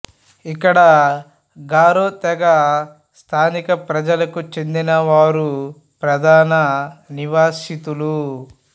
ఇక్కడ గారో తెగ స్థానిక ప్రజలుకు చెందినవారు ప్రధాన నివాసితులు